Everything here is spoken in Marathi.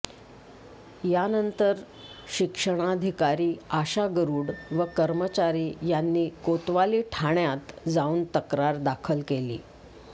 यानंतर शिक्षणाधिकारी आशा गरूड व कर्मचारी यांनी कोतवाली ठाण्यात जाऊन तक्रार दाखल केली